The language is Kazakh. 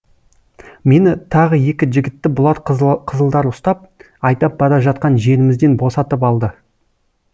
мені тағы екі жігітті бұлар қызылдар ұстап айдап бара жатқан жерімізден босатып алды